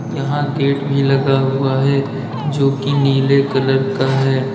यहां गेट भी लगा हुआ है जो की नीले कलर का है।